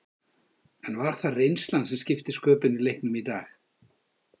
En var það reynslan sem skipti sköpum í leiknum í dag?